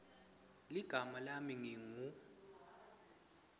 ligama lami ngingu